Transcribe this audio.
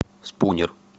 спунер